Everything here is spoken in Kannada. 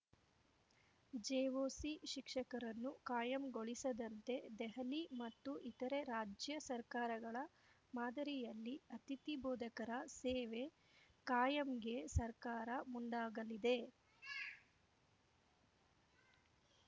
ಜೆಒಸಿ ಶಿಕ್ಷಕರನ್ನು ಕಾಯಂಗೊಳಿಸದಂತೆ ದೆಹಲಿ ಮತ್ತು ಇತರೆ ರಾಜ್ಯ ಸರ್ಕಾರಗಳ ಮಾದರಿಯಲ್ಲಿ ಅತಿಥಿ ಬೋಧಕರ ಸೇವೆ ಕಾಯಂಗೆ ಸರ್ಕಾರ ಮುಂದಾಗಲಿ